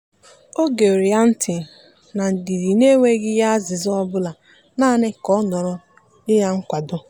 o gere ya ntị na ndidi n'enweghị ya azịza ọbụla naanị ka ọ nọrọ nye ya nkwado.